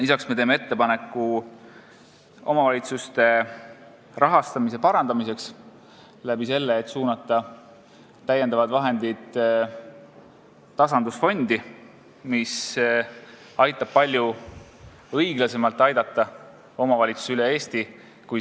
Lisaks me teeme ettepaneku parandada omavalitsuste rahastamist sel moel, et suunata täiendavad vahendid tasandusfondi, mis aitab palju õiglasemalt aidata omavalitsusi üle Eesti.